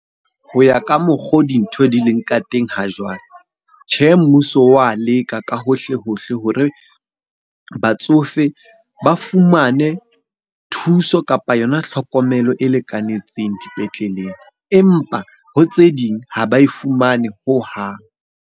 Ho ya ka mokgo dintho di leng ka teng ha jwale. Tjhe, mmuso wa leka ka hohle hohle hore batsofe ba fumane thuso kapa yona tlhokomelo e lekanetseng dipetleleng. Empa ho tse ding ha ba e fumane hohang.